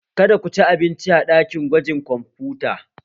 Kada ku ci abinci a ɗakin gwajin kwamfuta!